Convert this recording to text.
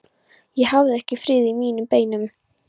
Ég hafði ekki frið í mínum beinum.